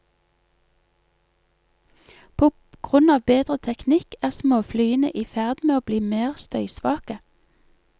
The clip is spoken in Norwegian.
På grunn av bedre teknikk er småflyene i ferd med å bli mer støysvake.